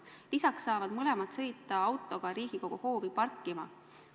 Peale selle saavad mõlemad sõita autoga Riigikogu hoovi parkima.